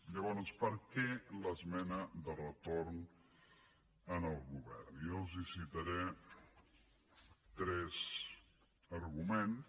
llavors per què l’esmena de retorn al govern jo els citaré tres arguments